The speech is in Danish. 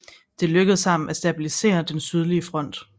Det lykkedes ham at stabilisere den sydlige front